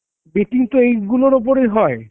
betting তো এইগুলোর ওপরে হয় .